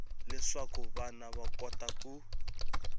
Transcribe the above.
leswaku vana va kota ku